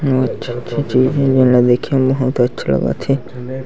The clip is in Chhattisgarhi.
बहुत अच्छी-अच्छी चीज़े जेन ल देखे म बहुत अच्छा लगत हे।